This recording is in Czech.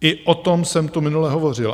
I o tom jsem tu minule hovořil.